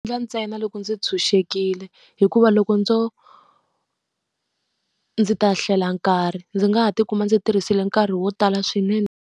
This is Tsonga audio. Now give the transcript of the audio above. ntsena loko ndzi tshunxekile hikuva loko ndzo ndzi ta hlela nkarhi. Ndzi nga ha tikuma ndzi tirhisile nkarhi wo tala swinene.